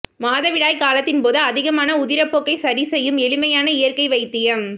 மாதவிடாய் காலத்தின் போது அதிகமான உதிரப்போக்கை சரி செய்யும் எளிமையான இயற்கை வைத்தியம்